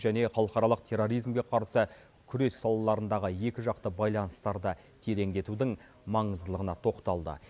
және халықаралық терроризмге қарсы күрес салаларындағы екіжақты байланыстарды тереңдетудің маңыздылығына тоқталды